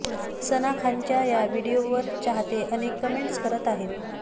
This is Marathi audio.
सना खानच्या या व्हिडीओवर चाहते अनेक कमेंट्स करत आहेत